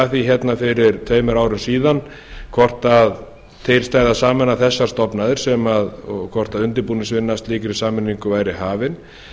að því fyrir tveimur árum hvort til stæði að sameina þessar stofnanir og hvort undirbúningsvinna að slíkri sameiningu væri hafin